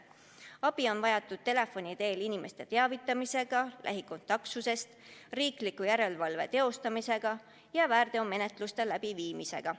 Abi on vajatud telefoni teel inimeste teavitamiseks lähikontaktsusest, riikliku järelevalve teostamiseks ja väärteomenetluste läbiviimiseks.